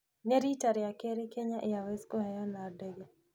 Ni riita rĩa keerĩ Kenya airways kũheeana ndege